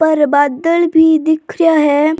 ऊपर बादल भी दिख रेहा है।